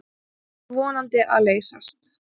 Það sé vonandi að leysast.